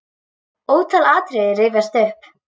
Ótal atriði rifjast upp.